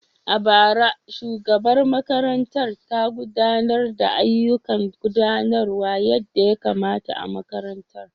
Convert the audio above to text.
A bara, shugabar makarantar ta gudanar da ayyukan gudanarwa yadda ya kamata a makarantar.